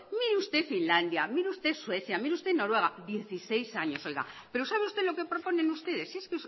mire usted finlandia mire usted suecia mire usted noruega dieciséis años pero sabe usted lo que proponen ustedes si es